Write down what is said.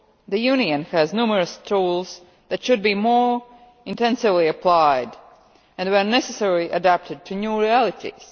The Union has numerous tools that should be more intensively applied and, where necessary, adapted to new realities.